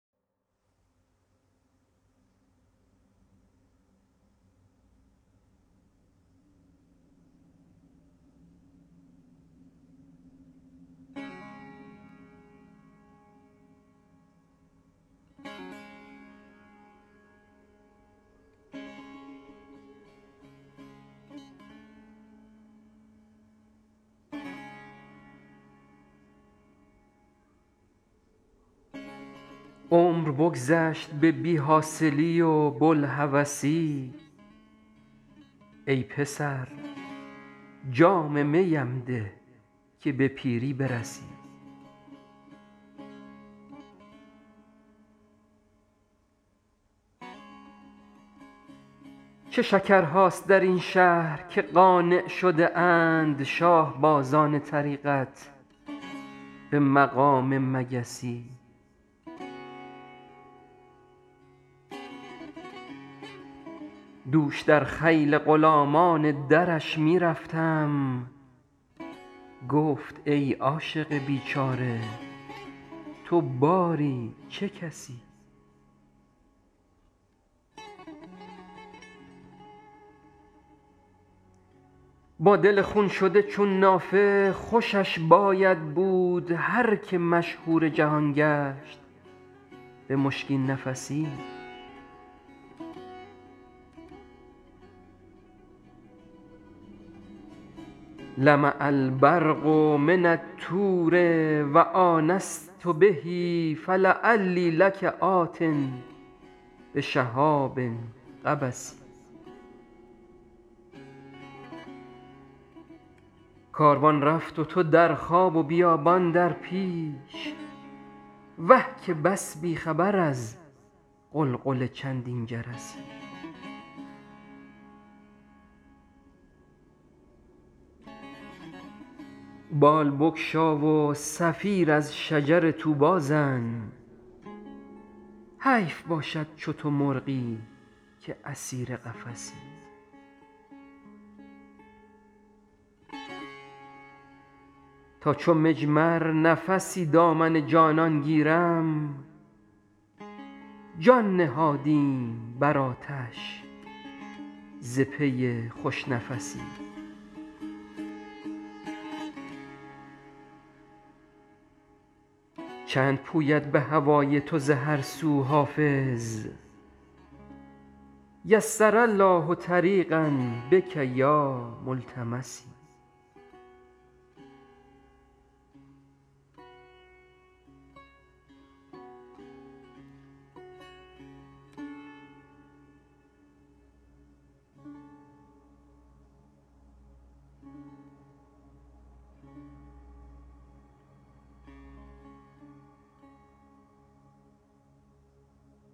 عمر بگذشت به بی حاصلی و بوالهوسی ای پسر جام می ام ده که به پیری برسی چه شکرهاست در این شهر که قانع شده اند شاه بازان طریقت به مقام مگسی دوش در خیل غلامان درش می رفتم گفت ای عاشق بیچاره تو باری چه کسی با دل خون شده چون نافه خوشش باید بود هر که مشهور جهان گشت به مشکین نفسی لمع البرق من الطور و آنست به فلعلی لک آت بشهاب قبس کاروان رفت و تو در خواب و بیابان در پیش وه که بس بی خبر از غلغل چندین جرسی بال بگشا و صفیر از شجر طوبی زن حیف باشد چو تو مرغی که اسیر قفسی تا چو مجمر نفسی دامن جانان گیرم جان نهادیم بر آتش ز پی خوش نفسی چند پوید به هوای تو ز هر سو حافظ یسر الله طریقا بک یا ملتمسی